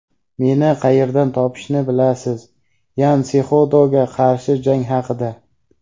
Meni qayerdan topishni bilasiz – Yan Sexudoga qarshi jang haqida.